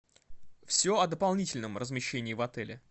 все о дополнительном размещении в отеле